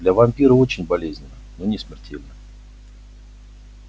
для вампира очень болезненно но не смертельно